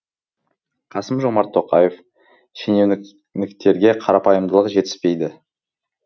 қасым жомарт тоқаев шенеуніктерге қарапайымдылық жетіспейді